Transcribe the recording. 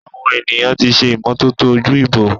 Awon eniyan ti se imototo oju-ibo.